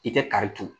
I tɛ kari turu